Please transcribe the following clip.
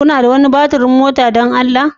Kuna da wani batir ɗin mota don Allah?